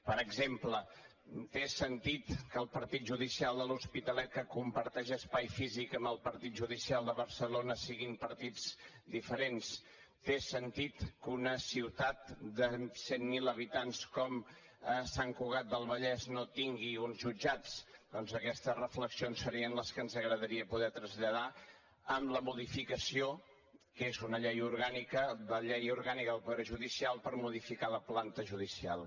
per exemple té sentit que el partit judicial de l’hospitalet que comparteix espai físic amb el partit judicial de barcelona siguin partits diferents té sentit que una ciutat de cent mil habitants com sant cugat del vallès no tingui uns jutjats doncs aquestes reflexions serien les que ens agradaria poder traslladar amb la modificació que és una llei orgànica de la llei orgànica del poder judicial per modificar la planta judicial